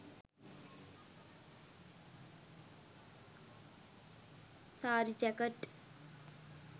saari jacket